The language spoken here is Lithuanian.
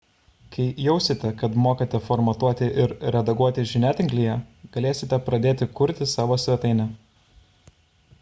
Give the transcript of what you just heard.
kai jausite kad mokate formatuoti ir redaguoti žiniatinklyje galėsite pradėti kurti savo svetainę